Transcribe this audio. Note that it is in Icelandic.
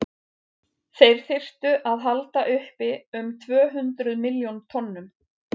þeir þyrftu að halda uppi um tvö hundruð milljón tonnum